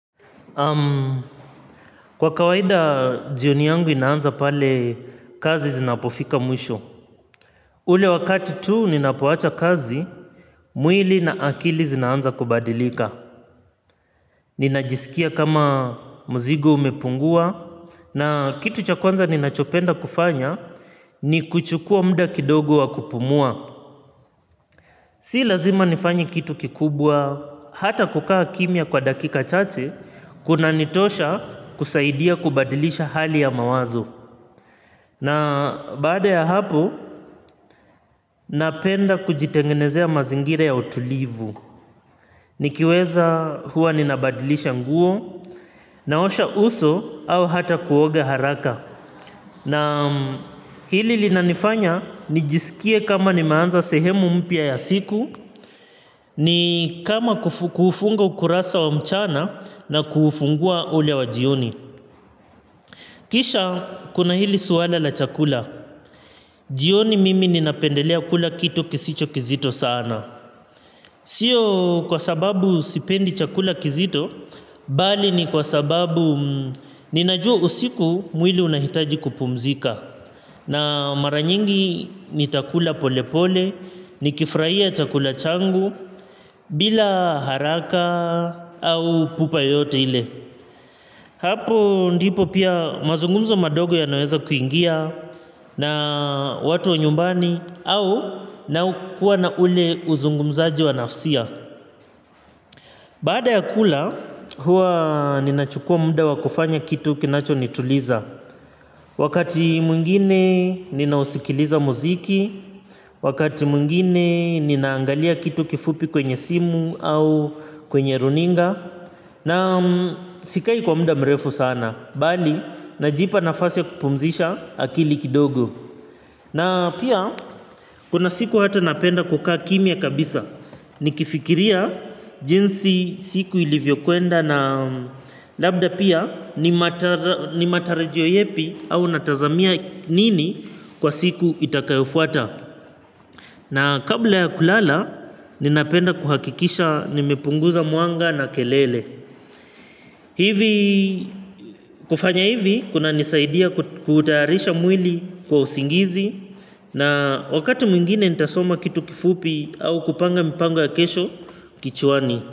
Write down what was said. Kwa kawaida jioni yangu inaanza pale kazi zinapofika mwisho ule wakati tu ninapowacha kazi. Mwili na akili zinaanza kubadilika. Ninajisikia kama mzigo umepungua. Na kitu cha kwanza ninachopenda kufanya ni kuchukua muda kidogo wa kupumua. Si lazima nifanye kitu kikubwa. Hata kukaa kimya kwa dakika chache kuna nitosha kusaidia kubadilisha hali ya mawazo. Na baada ya hapo napenda kujitengenezea mazingira ya utulivu. Nikiweza huwa ninabadilisha nguo naosha uso au hata kuoga haraka. Naam hili linanifanya nijisikie kama nimeanza sehemu mpya ya siku ni kama kufunga ukurasa wa mchana na kufungua ule wa jioni. Kisha kuna hili swala la chakula. Jioni mimi ninapendelea kula kitu kisicho kizito sana. Sio kwa sababu sipendi chakula kizito bali ni kwa sababu ninajua usiku mwili unahitaji kupumzika. Na mara nyingi nitakula polepole nikifurahia chakula changu bila haraka au pupa yoyote ile. Hapo ndipo pia mazungumzo madogo yanaweza kuingia na watu wa nyumbani au na kuwa na ule uzungumzaji wa nafsia baada ya kula huwa ninachukua muda wa kufanya kitu kinacho nituliza wakati mwingine ninausikiliza mziki wakati mwingine ninaangalia kitu kifupi kwenye simu au kwenye runinga na sikai kwa muda mrefu sana bali na jipa nafasi ya kupumzisha akili kidogo na pia kuna siku hata napenda kukaa kimya kabisa nikifikiria jinsi siku ilivyo kwenda na labda pia ni matarajio yepi au natazamia nini kwa siku itakayofuata na kabla ya kulala ninapenda kuhakikisha nimepunguza mwanga na kelele. Hivi kufanya hivi kuna nisaidia kutayarisha mwili kwa usingizi na wakati mwingine nitasoma kitu kifupi au kupanga mipanga ya kesho kichwani.